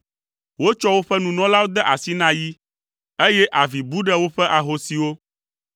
Wotsɔ woƒe nunɔlawo de asi na yi, eye avi bu ɖe woƒe ahosiwo.